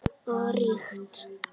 Og ríkt.